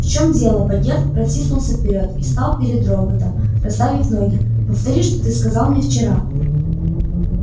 в чём дело богерт протиснулся вперёд и встал перед роботом расставив ноги повтори что ты сказал мне вчера